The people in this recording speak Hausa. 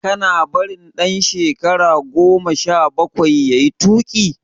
Kana barin dan shekara goma sha bakwai yayi tuki?